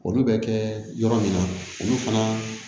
Olu bɛ kɛ yɔrɔ min na olu fana